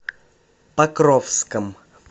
покровском